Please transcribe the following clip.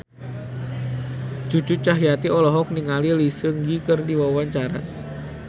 Cucu Cahyati olohok ningali Lee Seung Gi keur diwawancara